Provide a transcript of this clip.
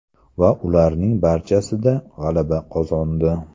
Va ularning barchasida g‘alaba qozondi.